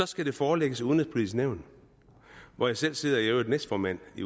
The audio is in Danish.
skal det forelægges udenrigspolitisk nævn hvor jeg selv sidder i øvrigt næstformand i